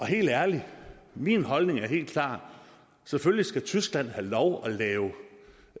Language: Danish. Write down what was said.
helt ærligt at min holdning er helt klar selvfølgelig skal tyskland have lov at lave